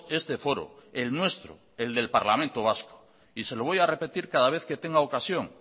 este foro el nuestro el del parlamento vasco y se lo voy a repetir cada vez que tenga ocasión